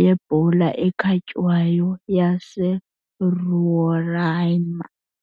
yebhola ekhatywayo yaseRoraima.